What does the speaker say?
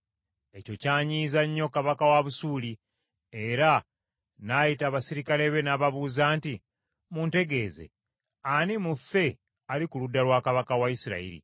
Ekyo kyanyiiza nnyo kabaka wa Busuuli, era n’ayita abaserikale be, n’ababuuza nti, “Muntegeeze, ani mu ffe ali ku ludda lwa kabaka wa Isirayiri?”